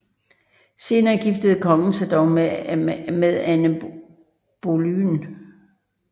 Senere giftede kongen sig dog med Anne Boleyn